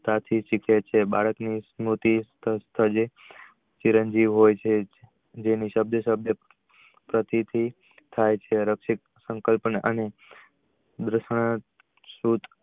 બાળક ની સર્મુતિ ચિરંજી હોય છે સાથે સાથે